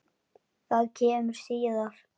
Það kemur síðar.